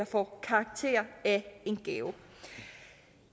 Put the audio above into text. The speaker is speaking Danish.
får karakter af en gave